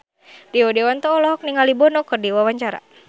Rio Dewanto olohok ningali Bono keur diwawancara